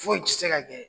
Foyi tɛ se ka kɛ